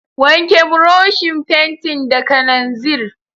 Wanke burushin fentin da kananzir.